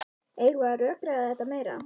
Eigum við að rökræða þetta meira?